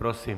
Prosím.